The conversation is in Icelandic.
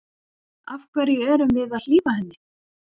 Af hverju erum við að hlífa henni?